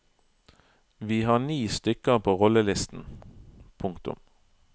Vi har ni stykker på rollelisten. punktum